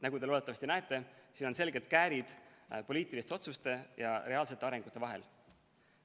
Nagu te loodetavasti näete, on siin selgelt käärid poliitiliste otsuste ja reaalse arengu vahel.